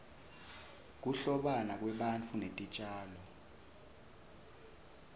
kuhlobana kwebantu netitjalo